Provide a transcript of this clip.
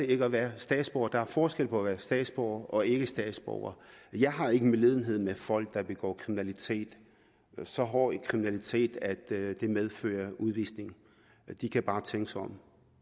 ikke at være statsborger der er forskel på at være statsborger og ikkestatsborger jeg har ikke medlidenhed med folk der begår så hård kriminalitet at det medfører udvisning de kan bare tænke sig om